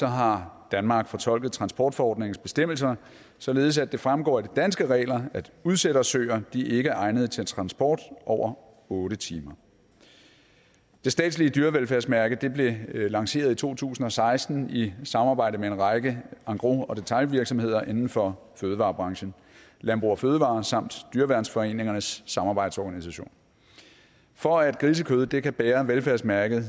har danmark fortolket transportforordningens bestemmelser således at det fremgår af de danske regler at udsættersøer ikke er egnet til transport over otte timer det statslige dyrevelfærdsmærke blev lanceret i to tusind og seksten i samarbejde med en række engros og detailvirksomheder inden for fødevarebranchen landbrug fødevarer og dyreværnsforeningernes samarbejdsorganisation for at grisekød kan bære dyrevelfærdsmærket er